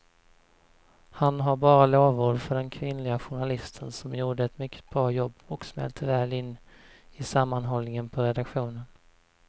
Han har bara lovord för den kvinnliga journalisten som gjorde ett mycket bra jobb och smälte väl in i sammanhållningen på redaktionen.